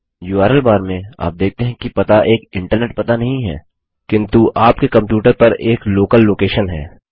URL bar में आप देखते हैं कि पता एक इंटरनेट पता नहीं है किन्तु आपके कंप्यूटर पर एक लोकल लोकेशन है